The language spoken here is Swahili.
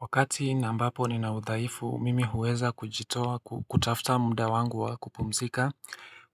Wakati na ambapo ni na udhaifu, mimi huweza kujitoa kutafuta muda wangu wa kupumzika